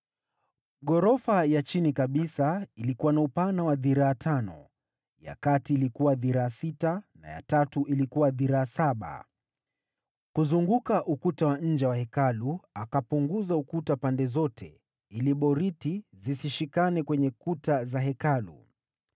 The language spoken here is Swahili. Ghorofa ya chini kabisa ilikuwa na upana wa dhiraa tano, ya kati ilikuwa dhiraa sita na ya tatu ilikuwa dhiraa saba. Kuzunguka ukuta wa nje wa Hekalu akapunguza ukuta pande zote ili boriti zisishikane kwenye kuta za Hekalu.